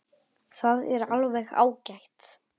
Það er alveg ágætt.